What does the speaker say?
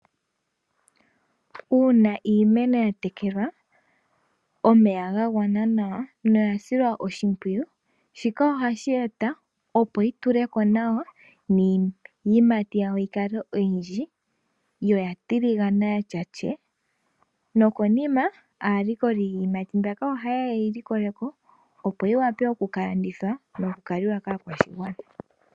Uuna iimeno ya tekelwa omeya ga gwana nawa na oya silwa oshimpwiyu, shika ohashi eta opo yi tule ko nawa niiyimati yayo yi kale oyindji, yo oya tiligana ya tya tyee. No konima alikoli yiiyimati mbika oha yeya ye yi likole ko opo yi wape oku ka landithwa no ku ka liwa kaakwashigwana.